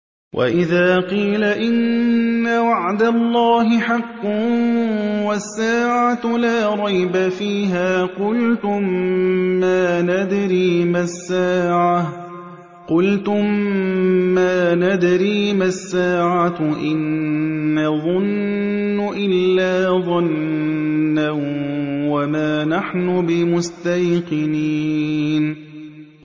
وَإِذَا قِيلَ إِنَّ وَعْدَ اللَّهِ حَقٌّ وَالسَّاعَةُ لَا رَيْبَ فِيهَا قُلْتُم مَّا نَدْرِي مَا السَّاعَةُ إِن نَّظُنُّ إِلَّا ظَنًّا وَمَا نَحْنُ بِمُسْتَيْقِنِينَ